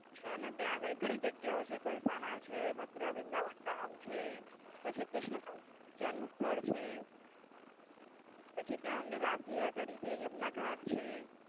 છે ને ત્યાં ગળી. ઘણી જગ્યા ઓ હે બરસાના છે, મથુરા, વૃંદાવન ધામ છે. પછી કૃષ્ણ જન્મસ્થળ છે. ત્યાં અમને રાસલીલા કરી એ યમના ઘાટ છે.